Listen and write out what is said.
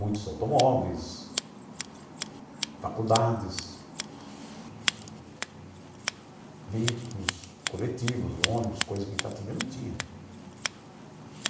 Muitos automóveis, faculdades, veículos coletivos, ônibus, coisa que em Itatinga não tinha. Uhum.